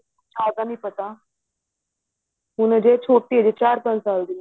ਜਿਆਦਾ ਨਹੀਂ ਪਤਾ ਹੁਣ ਹਜੇ ਛੋਟੀ ਹੈ ਚਾਰ ਪੰਜ ਸਾਲ ਦੀ